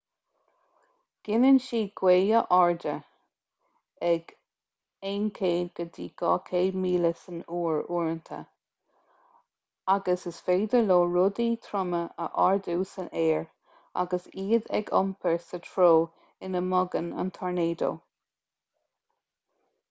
gineann siad gaotha arda ag 100-200 míle san uair uaireanta agus is féidir leo rudaí troma a ardú san aer agus iad a iompar sa treo ina mbogann an tornádó